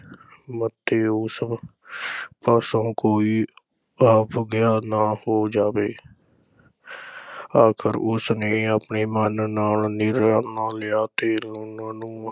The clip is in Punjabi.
ਮਤੇ ਉਸ ਪਾਸੋਂ ਕੋਈ ਅਵੱਗਿਆ ਨਾ ਹੋ ਜਾਵੇ ਆਖਰ ਉਸ ਨੇ ਆਪਣੇ ਮਨ ਨਾਲ ਨਿਰਣਾ ਲਿਆ ਤੇ ਲੂਣਾਂ ਨੂੰ